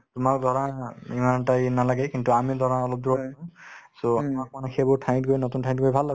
তোমাৰ ধৰা ইমান এটা নালাগে কিন্তু আমি ধৰা অলপ দূৰত so আমাক মানে সেইবোৰ ঠাইত গৈ নতুন ঠাইত গৈ ভাল লাগে